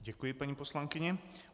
Děkuji paní poslankyni.